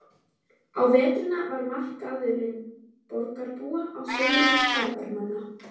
Á veturna var markaðurinn borgarbúa, á sumrin ferðamannanna.